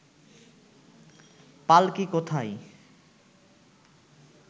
পাল্কী কোথায়